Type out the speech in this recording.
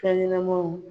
Fɛn ɲɛnɛmanw